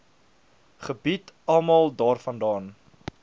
gebied almal daarvandaan